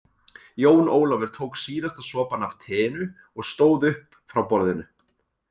Jón Ólafur tók síðasta sopann af teinu og stóð upp frá borðinu.